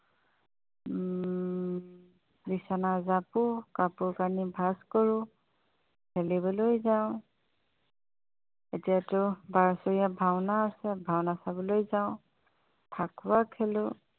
উম বিচনা জাপো কাপোৰ-কানি ভাগ কৰোঁ খেলিবলৈ যাওঁ এতিয়াটো ভাওনা আছে ভাওনা চাবলৈ যাওঁ ফীকুৱা খেলোঁ